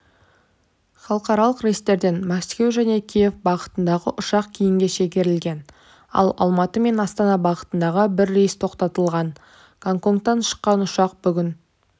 халықаралық рейстерден мәскеу және киев бағытындағы ұшақ кейінге шегерілген ал алматы мен астана бағытындағы бір рейс тоқтатылған гоконгтан шыққан ұшақ бүгін